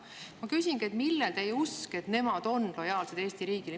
Ma küsingi, millel põhineb teie usk, et nemad on lojaalsed Eesti riigile.